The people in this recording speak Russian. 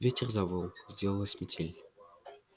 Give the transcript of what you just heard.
ветер завыл сделалась метель